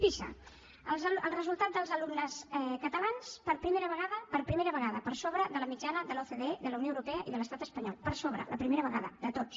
pisa el resultat dels alumnes catalans per primera vegada per primera vegada per sobre de la mitjana de l’ocde de la unió europea i de l’estat espanyol per sobre la primera vegada de tots